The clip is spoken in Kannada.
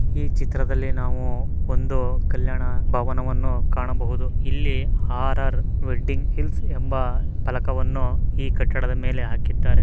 ಈ ಚಿತದಲ್ಲಿ ನಾವು ಒಂದು ಕಲ್ಯಾಣ ಭವ ವನ್ನು ಕಾಣಬಹುದು ಇಲ್ಲಿ ಆರ್.ಆರ್ ವೆಡ್ಡಿಂಗ್ ಹಿಲ್ಸ್ ಅಂತ ಫಲಕ ವನ್ನು ಈ ಕಟ್ಟಡದ ಮೇಲೆ ಹಾಕಿದ್ದಾರೆ.